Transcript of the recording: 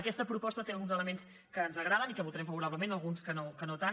aquesta proposta té alguns elements que ens agraden i que votarem favorablement alguns que no tant